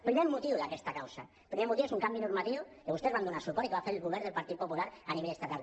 primer motiu d’aquesta causa el primer motiu és un canvi normatiu que vostès hi van donar suport i que va fer el govern del partit popular a nivell estatal